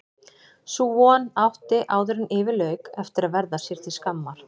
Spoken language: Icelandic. Sú von átti áðuren yfir lauk eftir að verða sér til skammar.